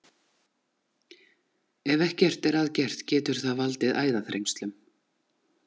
Ef ekkert er að gert getur það valdið æðaþrengslum.